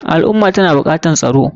Al ummah tana bukatar tsaro.